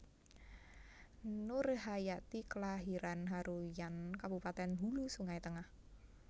Nurhayati klairan Haruyan Kabupatèn Hulu Sungai Tengah